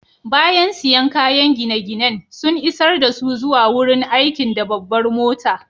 Bayan siyan kayakin gine-ginen, sun isar dasu zuwa wurin aikin da babbar mota.